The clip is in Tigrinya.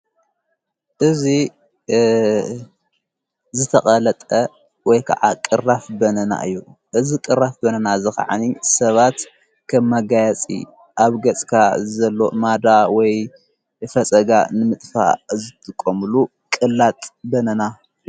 እዙይ ዝተቐለጠ ወይ ከዓ ቕራፍ በናና እዩ እዚ ቕራፍ በናና እዚ ኸዓ ሰባት ኸም መጋያፂ ኣብ ገጽካ ዘሎ ማዳ ወይ ፈፀጋ ንምጥፋ ዘትቖምሉ ቕላጥ በናና።